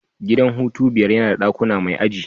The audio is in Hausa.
Gidan hutu biyar yana da dakuna mai aji.